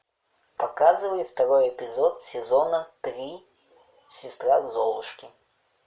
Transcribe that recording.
показывай второй эпизод сезона три сестра золушки